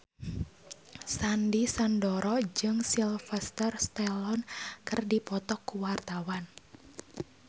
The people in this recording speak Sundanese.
Sandy Sandoro jeung Sylvester Stallone keur dipoto ku wartawan